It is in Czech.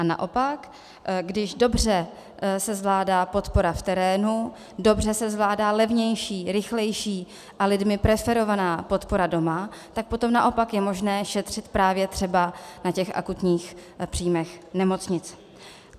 A naopak když se dobře zvládá podpora v terénu, dobře se zvládá levnější, rychlejší a lidmi preferovaná podpora doma, tak potom naopak je možné šetřit právě třeba na těch akutních příjmech nemocnic.